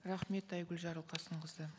рахмет айгүл жарылқасынқызы